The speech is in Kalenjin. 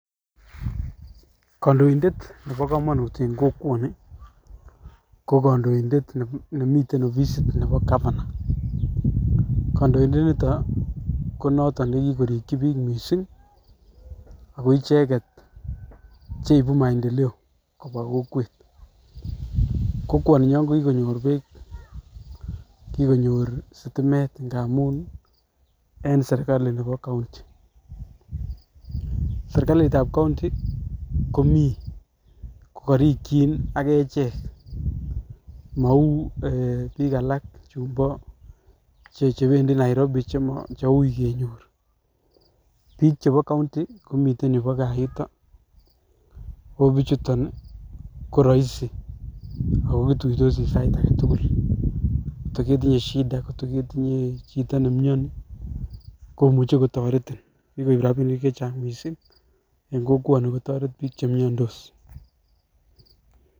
Kondoindet nebo komonut en kokwoni, ko kondoindet nemiten ofisit nebo governor. Kondoindet nito ko noto nekikorikyi piik mising, ako icheget cheipu maendeleo kobwa kokwet. Kokwoninyon kokikonyor peek, kikonyor sitimet ngamun en serikalit nebo county. Serikalit ab county , komi kokorikyin ak echek mou piik alak chumpo chebendi Nairobi cheui kenyor. Piik chepo county komi yupo Kaa yuton. Ako pichuton ko roisi kenyor ako kituitosi sait agetugul ngot koketinye shida ngot koketinye chito nemioni, komuche kotoretin . Kikoip rapinik chechang' mising, en kokwotini kotoret piik chemiondos.